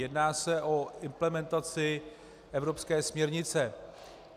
Jedná se o implementaci evropské směrnice.